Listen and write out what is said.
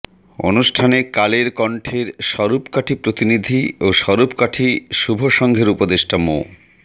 অনুষ্ঠানে কালেরক ণ্ঠের স্বরূপকাঠি প্রতিনিধি ও স্বরূপকাঠি শুভসংঘের উপদেষ্টা মো